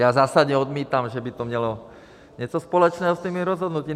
Já zásadně odmítám, že by to mělo něco společného s těmi rozhodnutími.